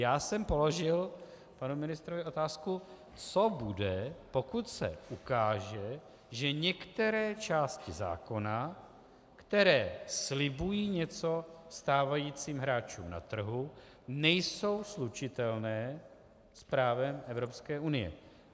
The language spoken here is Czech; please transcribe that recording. Já jsem položil panu ministrovi otázku, co bude, pokud se ukáže, že některé části zákona, které slibují něco stávajícím hráčům na trhu, nejsou slučitelné s právem Evropské unie.